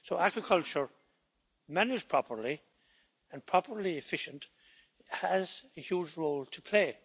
So aquaculture, managed properly and properly efficient, has a huge role to play.